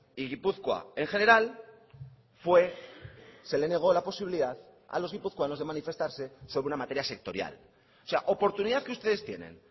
y gipuzkoa en general fue se le negó la posibilidad a los guipuzcoanos de manifestarse sobre una materia sectorial o sea oportunidad que ustedes tienen